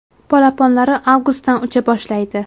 Polaponlari avgustdan ucha boshlaydi.